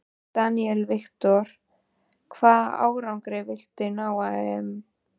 Daniel Victor: Hvaða árangri viltu ná á EM?